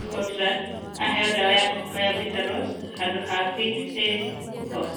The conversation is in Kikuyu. Scotland, aheo ndawa ya kũhaka ya Vitaros handũ ha VitA-POS.